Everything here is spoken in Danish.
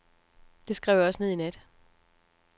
Det skrev jeg også ned i nat.